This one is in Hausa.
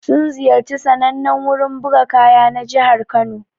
Sun ziyarci sannanen wurin buga kaya na jihar Kano.